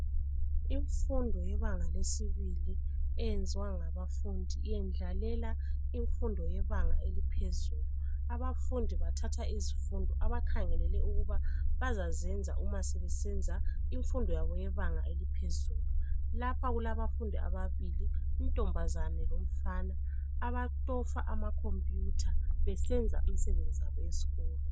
Imfundo yebanga lesibili eyenziwa ngabafundi yendlalalela imfundo yebanga eliphezulu. Abafundi bathatha izifundo abakhangelele ukuba bazazenza uma sebesenza imfundo yabo yebanga eliphezulu. Lapha kulabafundi ababili, intombazane lomfana abacofa amakhompuyutha besenza imisebenzi yabo yesikolo.